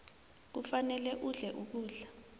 kufanele udle ukudla